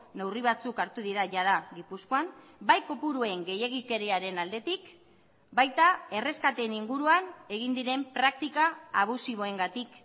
neurri batzuk hartu dira jada gipuzkoan bai kopuruen gehiegikeriaren aldetik baita erreskateen inguruan egin diren praktika abusiboengatik